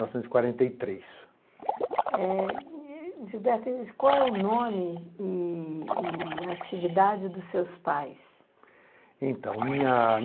novecentos e quarenta e três. Gilberto, qual é o nome e a atividade dos seus pais? Então, minha